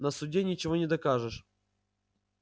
на суде ничего не докажешь